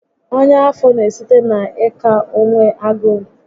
Ọnya afọ n'esite na ị ka onwe agụụ